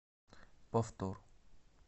повтор